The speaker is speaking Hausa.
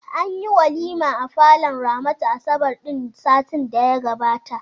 Anyi walima a falon Ramatu asabar ɗin satin da ya gabata.